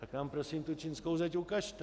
Tak nám prosím tu čínskou zeď ukažte.